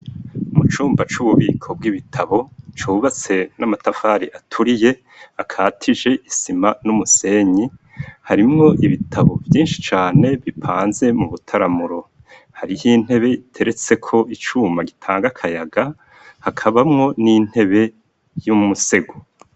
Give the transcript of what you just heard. Mu cumba c'ububiko bw'ibitabo, cubatse n'amatafari aturiye, akatije isima n'umusenyi harimwo ibitabo vyinshi cane bipanze mu butaramuro, harih' intebe iteretse ko icuma gitang'akayaga, hakabamwo n'intebe y'umusego.